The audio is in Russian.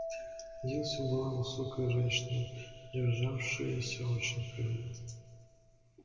дилси была высокая женщина державшаяся очень прямо